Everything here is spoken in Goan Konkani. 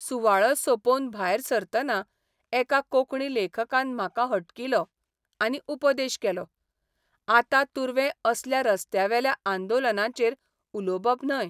सुवाळो सौंपोवन भायर सरतना एका कोंकणी लेखकान म्हाका हटकिलो आनी उपदेश केलोः आतां तुर्वे असल्या रस्त्यावेल्या आंदोलनांचेर उलोबप न्हय.